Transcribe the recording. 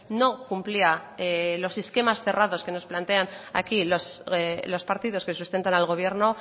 no cumplía los esquemas cerrados que nos plantean aquí los partidos que sustentan al gobierno